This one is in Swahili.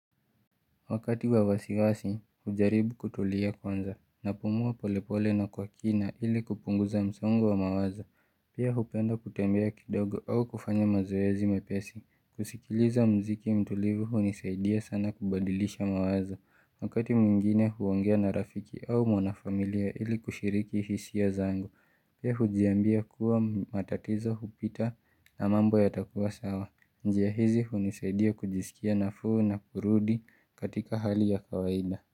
Wakati wa wasiwasi, najaribu kutulia kwanza, napumua polepole na kwa kina ili kupunguza msongo wa mawazo. Pia hupenda kutembea kidogo au kufanya mazoezi mepesi. Kusikiliza mziki mtulivu hunisaidia sana kubadilisha mawazo. Wakati mwingine huongea na rafiki au mwana familia ili kushiriki hisia zangu. Pia hujiambia kuwa matatizo hupita na mambo yatakua sawa. Njia hizi hunisaidia kujisikia nafuu na kurudi katika hali ya kawaida.